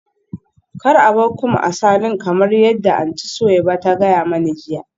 Kar a bar combs a saloon kamar yadda Aunty Suweiba ta gaya mani jiya